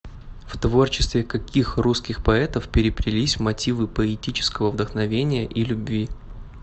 в творчестве каких русских поэтов переплелись мотивы поэтического вдохновения и любви